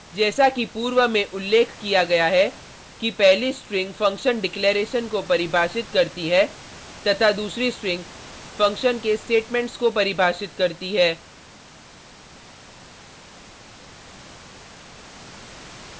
जैसा कि पूर्व में उल्लेख किया गया है कि पहली स्ट्रिंग फंक्शन डिक्लैरेशन को परिभाषित करती है तथा दूसरी स्ट्रिंग फंक्शन के स्टेटमेंट्स को परिभाषित करती है